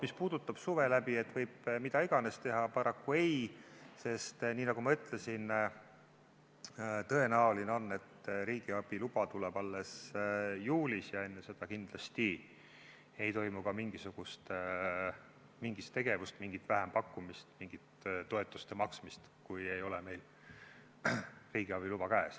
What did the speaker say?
Mis puudutab seda, et suve läbi võib mida iganes teha, siis paraku ei, sest nagu ma ütlesin, tõenäoline on, et riigiabi luba tuleb alles juulis ja enne seda kindlasti ei toimu ka mingisugust tegevust, mingit vähempakkumist, mingit toetuste maksmist, kui meil ei ole riigiabi luba käes.